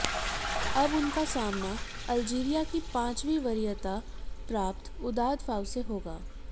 अब उनका सामना अल्जीरिया की पांचवीं वरीयता प्राप्त उदाद फाउ से होगा